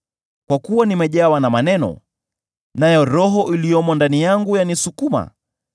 Kwa kuwa nimejawa na maneno, nayo Roho iliyomo ndani yangu yanisukuma;